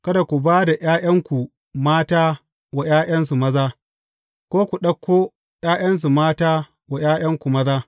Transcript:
Kada ku ba da ’ya’yanku mata wa ’ya’yansu maza, ko ku ɗauko ’ya’yansu mata wa ’ya’yanku maza.